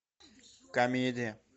комедия